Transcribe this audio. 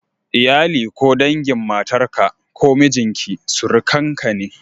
Iyali ko dangin matarka ko mijinki surukanka ne.